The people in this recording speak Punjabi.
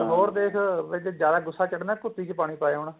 ਤੇ ਹੋਰ ਦੇਖ ਜੇਜ ਜਿਆਦਾ ਗੁੱਸਾ ਚੜਨਾ ਕੁਪੀ ਚ ਪਾਣੀ ਪਾਏ ਆਉਣਾ